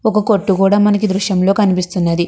ఒక్క కొట్టు కూడా మనకి ఈ దృశ్యం లో కనిపిస్తున్నది.